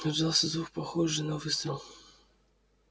раздался звук похожий на выстрел